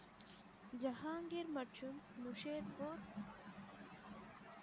ஜஹாங்கீர் மற்றும் முசேத்வா